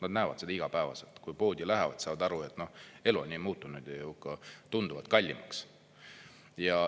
Nad näevad seda igapäevaselt, kui poodi lähevad, saavad aru, et elu on nii muutunud, ja ka tunduvalt kallimaks.